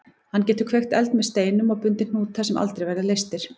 Hann getur kveikt eld með steinum og bundið hnúta sem aldrei verða leystir.